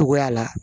Togoya la